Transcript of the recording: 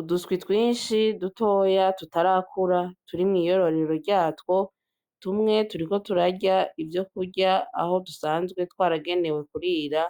Uduswi twishi dutoya tutarakura turi mwiyororero ryatwo tumwe turiko turarya ivyo kurya bisanzwe aho dusanzwe twaragenewe kurira